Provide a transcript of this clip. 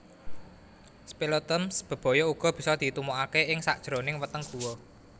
Speleothems bebaya uga bisa ditumokake ing sakajroning weteng guwa